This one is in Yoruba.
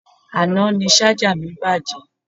Àná ni Ṣájà mi bàjẹ́